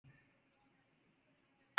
Höfðabergi